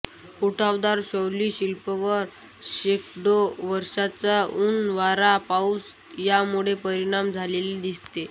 उठावदार शैली शिल्पांवर शेकडो वर्षाचा ऊन वारा पाऊस यामुळे परिणाम झालेला दिसतो